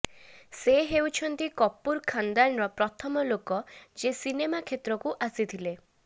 ସେ ହେଉଛନ୍ତି କପୁର ଖାନଦାନର ପ୍ରଥମ ଲୋକ ଯିଏ ସିନେମା କ୍ଷେତ୍ରକୁ ଆସିଥିଲେ